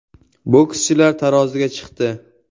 Bokschilar taroziga chiqdi.